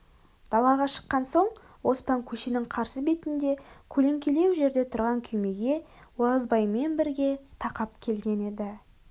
далаға шыққан соң оспан көшенің қарсы бетінде көлеңкелеу жерде тұрған күймеге оразбаймен бірге тақап келген еді